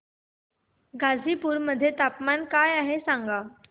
गाझीपुर मध्ये तापमान काय आहे सांगा